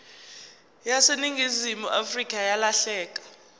yaseningizimu afrika yalahleka